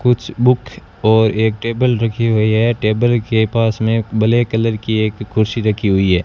कुछ बुक और एक टेबल रखी हुई है टेबल के पास में ब्लैक कलर की एक कुर्सी रखी हुई है।